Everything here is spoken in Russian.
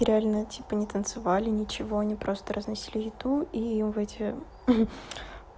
реально типа не танцевали ничего они просто разносили еду и в эти